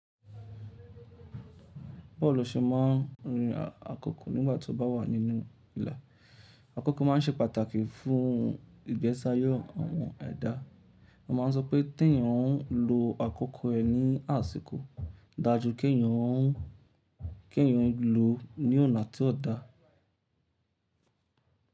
Bawo lo ṣe máa ń rin àkókò nígbà tí ó bá wà nínú ìlà. Àkókò máa ń ṣe pàtàkì fún ìgbésáyẹ́ àwọn ẹ̀dá. Wọ́n máa ń sọ pé tí èèyàn ó ń lo àkókò ẹ ní àsìkò dáa ju kí èèyàn ó ń lọ ní ọ̀nà tí ó da.